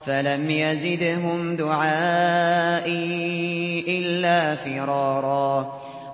فَلَمْ يَزِدْهُمْ دُعَائِي إِلَّا فِرَارًا